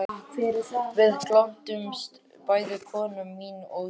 Við glöddumst bæði, kona mín og ég